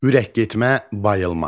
Ürək getmə (bayılma).